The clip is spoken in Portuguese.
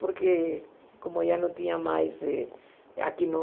Porque como já não tinha mais eh aqui no...